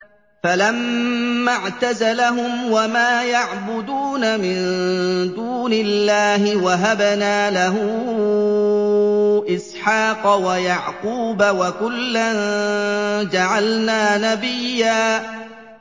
فَلَمَّا اعْتَزَلَهُمْ وَمَا يَعْبُدُونَ مِن دُونِ اللَّهِ وَهَبْنَا لَهُ إِسْحَاقَ وَيَعْقُوبَ ۖ وَكُلًّا جَعَلْنَا نَبِيًّا